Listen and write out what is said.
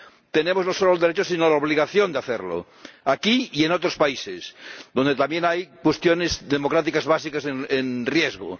Tenemos no solo el derecho, sino la obligación de hacerlo, aquí y en otros países donde también hay cuestiones democráticas básicas en riesgo